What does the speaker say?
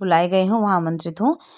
बुलाये गए हो वहाँ आमंत्रित हो।